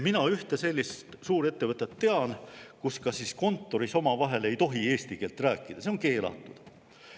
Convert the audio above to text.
Mina ühte sellist suurettevõtet tean, kus kontoris ei tohi omavahel eesti keeles rääkida, see on keelatud.